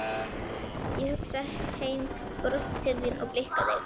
Ég hugsa heim, brosi til þín og blikka þig.